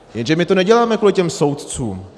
Jenže my to neděláme kvůli těm soudcům!